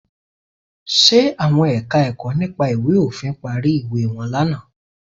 Ṣe àwọn Ẹ̀ka-ẹ̀kọ́ nípa ìwé òfin parí ìwé wọn lánàá?